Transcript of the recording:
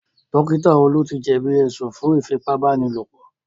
Dókítà Olú ti jẹ̀bí ẹ̀sùn fún Ífipá-báni-lòpọ̀